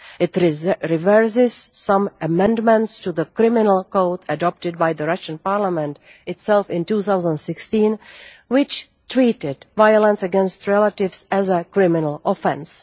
It reverses some amendments to the criminal code adopted by the Russian Parliament itself in 2016, which treated violence against relatives as a criminal offence.